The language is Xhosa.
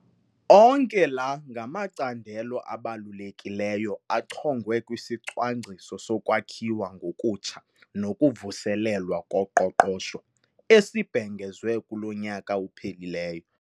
Onke la ngamacandelo abalulekileyo achongwe kwisiCwangciso soKwakhiwa ngokutsha nokuVuselelwa koQoqosho esibhengezwe kulo nyaka uphelileyo.